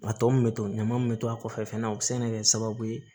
A tɔ min bɛ to ɲama min bɛ to a kɔfɛ fana o bɛ se ka kɛ sababu ye